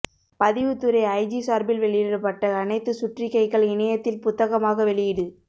பதிவுத்துறை ஐஜி சார்பில் வெளியிடப்பட்ட அனைத்து சுற்றறிக்கைகள் இணையத்தில் புத்தகமாக வெளியீடு